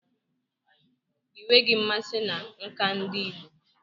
Ị nweghị mmasị na nka ndi igbo?